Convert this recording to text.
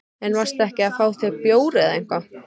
En varstu ekki að fá þér bjór eða eitthvað?